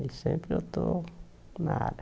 E sempre eu estou na área.